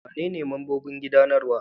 Wanene membobin gudanarwa?